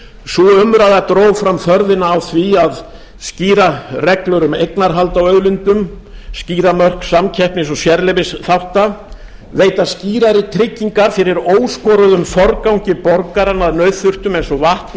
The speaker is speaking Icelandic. sú umræða dró fram þörfina á því að skýra reglur um eignarhald á auðlindum skýra mörk samkeppnis og sérleyfisþátta veita skýrari tryggingar fyrir óskoruðum forgangi borgaranna að nauðþurftum eins og vatni